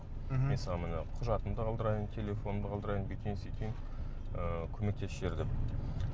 мхм мен саған міне құжатымды қалдырайын телефонымды қалдырайын бүйтейін сөйтейін ыыы көмектесіп жібер деп